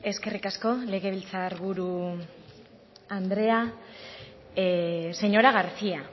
eskerrik asko legebiltzar buru andrea señora garcía